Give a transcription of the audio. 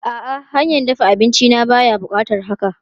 A'a, hanyar dafa abinci na baya buƙatar haka.